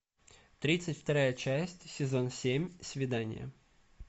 тридцать вторая часть сезон семь свидание